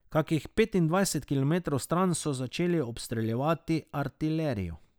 Kakih petindvajset kilometrov stran so začeli obstreljevati artilerijo.